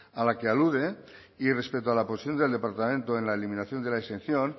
a la que alude y respecto a la posición del departamento en la eliminación de la exención